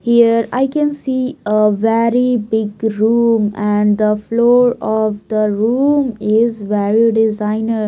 here i can see a very big room and the floor of the room is well designer.